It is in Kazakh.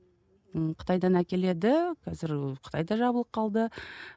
ы қытайдан әкеледі қазір қытай да жабылып қалды